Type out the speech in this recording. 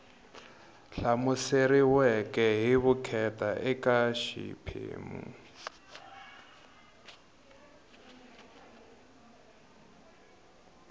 hlamuseriweke hi vukheta eka xiphemu